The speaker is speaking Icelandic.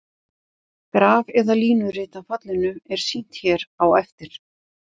Graf eða línurit af fallinu er sýnt hér á eftir.